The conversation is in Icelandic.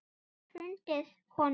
Hrundið honum?